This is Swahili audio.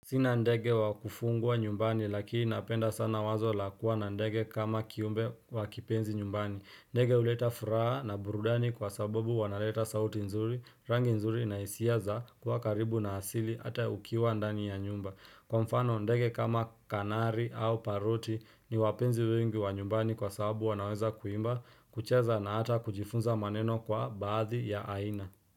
Sina ndege wakufungwa nyumbani lakini napenda sana wazo lakuwa na ndege kama kiumbe wakipenzi nyumbani. Ndege uleta furaha na burudani kwa sababu wanaleta sauti nzuri, rangi nzuri na isia za kuwa karibu na hasili ata ukiwa ndani ya nyumba. Kwa mfano ndege kama kanari au paruti ni wapenzi wengi wa nyumbani kwa sababu wanaweza kuimba, kucheza na hata kujifunza maneno kwa baadhi ya aina.